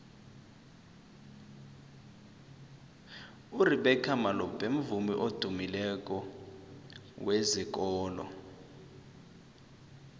urebeca malope mvumi odumileko wezekolo